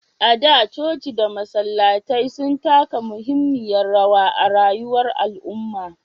A da, coci da masallatai sun taka muhimmiyar rawa a rayuwar al'umma.